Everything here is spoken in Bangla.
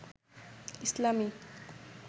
ইসলামী